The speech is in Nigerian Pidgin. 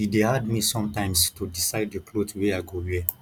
e dey hard me sometimes to decide di cloth wey i go wear